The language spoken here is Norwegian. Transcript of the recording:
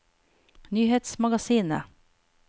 nyhetsmagasinet